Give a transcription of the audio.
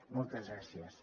moltes gràcies